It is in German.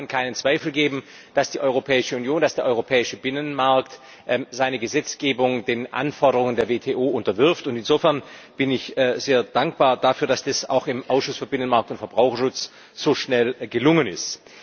Es kann keinen Zweifel geben, dass die Europäische Union, dass der Europäische Binnenmarkt seine Gesetzgebung den Anforderungen der WTO unterwirft, insofern bin ich sehr dankbar dafür, dass das auch im Ausschuss für Binnenmarkt und Verbraucherschutz so schnell gelungen ist.